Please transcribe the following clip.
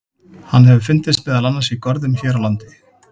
Hann hefur fundist meðal annars í görðum hér á landi.